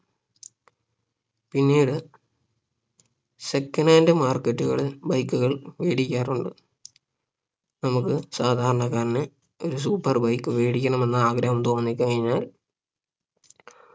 പിന്നീട് second hand market കളിൽ bike കൾ മേടിക്കാറുണ്ട് നമുക്ക് സാധാരണക്കാരാണ് ഒരു super bike വേടിക്കണമെന്നു ആഗ്രഹം തോന്നിക്കഴിഞ്ഞാൽ